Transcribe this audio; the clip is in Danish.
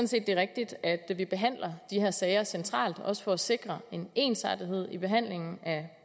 set det er rigtigt at behandle de her sager centralt også for at sikre en ensartethed i behandlingen af